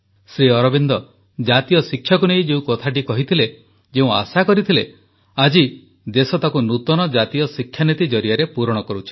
ଶ୍ରୀଅରବିନ୍ଦ ଜାତୀୟ ଶିକ୍ଷାକୁ ନେଇ ଯେଉଁ କଥାଟି କହିଥିଲେ ଯେଉଁ ଆଶା କରିଥିଲେ ଆଜି ଦେଶ ତାକୁ ନୂତନ ଜାତୀୟ ଶିକ୍ଷାନୀତି ଜରିଆରେ ପୂରଣ କରୁଛି